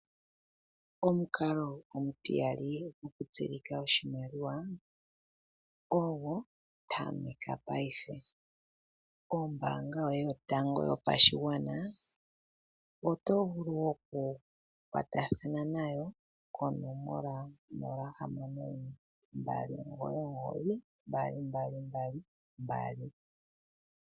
Omukalo omutiyali gokutseyitha oshimaliwa ogo, tameka paife. Kombaanga yoye yotango yopashigwana oto vulu okukwatathana nayo konomola 0612992222.